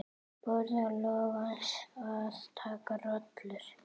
Boði Logason: Að taka rollur?